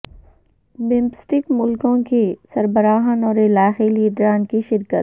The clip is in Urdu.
بمسٹیک ملکوں کے سربراہان اور علاقائی لیڈران کی شرکت